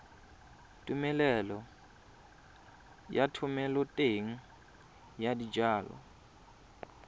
tumelelo ya thomeloteng ya dijalo